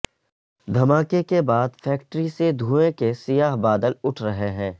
دھماکے کے بعد فیکڑی سے دھوئیں کے سیاہ بادل اٹھ رہے ہیں